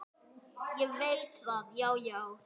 Ég veit það, já, já.